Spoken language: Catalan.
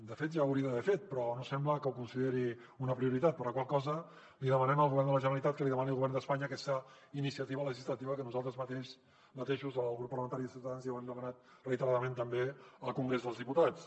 de fet ja ho hauria d’haver fet però no sembla que ho consideri una prioritat per la qual cosa li demanem al govern de la generalitat que li demani al govern d’espanya aquesta iniciativa legislativa que nosaltres mateixos el grup parlamentari de ciutadans ja ho hem demanat reiteradament també al congrés dels diputats